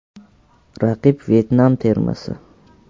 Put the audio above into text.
Raqib Vyetnam termasi.